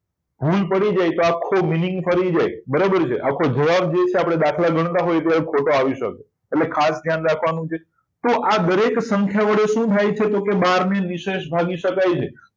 ભૂલ પડી જાય તો આખો meaning ફરી જાય બરાબર છે આખો દાખલો ખોટો આવી શકે એટલે ખાસ ધ્યાન રાખવાનું છે તો આ દરેક સંખ્યા વડે શું થાય છે બાર ને નિશેષ ભાગી શકાય છે